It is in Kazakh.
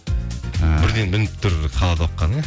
і бірден білініп тұр қалады оққаны иә